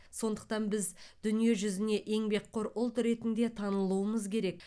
сондықтан біз дүниежүзіне еңбекқор ұлт ретінде танылуымыз керек